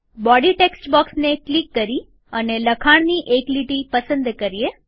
body text બોક્સને click કરી અને લખાણની એક લીટી પસંદ કરીએ